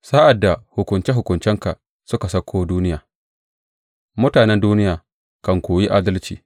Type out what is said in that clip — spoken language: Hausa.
Sa’ad da hukunce hukuncenka suka sauko duniya, mutanen duniya kan koyi adalci.